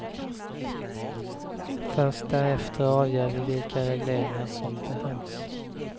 Först därefter avgör vi vilka regleringar som behövs.